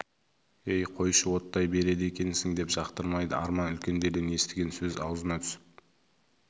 ей қойшы оттай береді екенсің деп жақтырмайды арман үлкендерден естіген сөз аузына түсіп